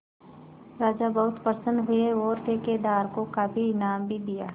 राजा बहुत प्रसन्न हुए और ठेकेदार को काफी इनाम भी दिया